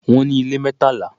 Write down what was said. Wọ́n ní ilé mẹ́tàlá.